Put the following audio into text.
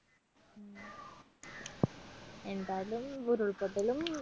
എന്തായാലും ഉരുൾപൊട്ടലും